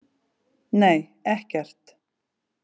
Nei, ekkert.